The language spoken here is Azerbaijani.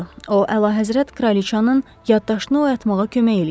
O əlahəzrət kraliçanın yaddaşını oyatmağa kömək eləyərdi.